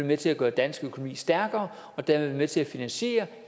med til at gøre dansk økonomi stærkere og dermed være med til at finansiere